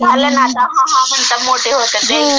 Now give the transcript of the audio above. हां हां म्हणता मोठी होतात ..